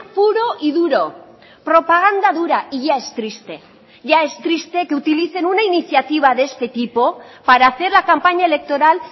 puro y duro propaganda dura y ya es triste ya es triste que utilicen una iniciativa de este tipo para hacer la campaña electoral